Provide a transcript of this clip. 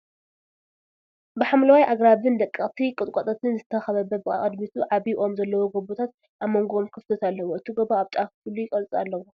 ብሓምለዋይ ኣግራብን ደቀቅቲ ቆጥቋጣትን ዝተኸበበ ብቅድሚቱ ዓብይ ኦም ዘለዎ ጎቦታት ኣብ ሞንጎኦም ክፍተት ኣለዎ፡፡ እቲ ጎቦ ኣብ ጫፋ ፍሉይ ቅርፂ ኣለዎ